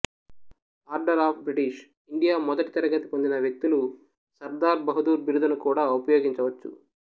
order of British India మొదటి తరగతి పొందిన వ్యక్తులు సర్దార్ బహదూర్ బిరుదును కూడా ఉపయోగించవచ్చు